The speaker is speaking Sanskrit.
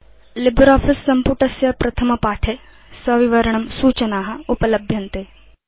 लिब्रियोफिस सम्पुटस्य प्रथमपाठे सविवरणं सूचना उपलभ्यन्ते